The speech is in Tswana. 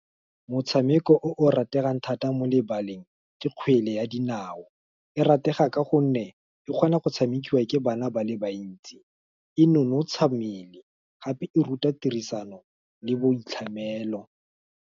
motshameko o o rategang thata mo lebaleng, ke kgwele ya dinao, e ratege ka gonne, e kgona go tshamekiwa ke bana ba le bantsi, e nonotsha mmele, gape e ruta tirisano le boitlhamelo.